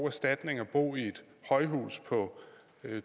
erstatning at bo i et højhus på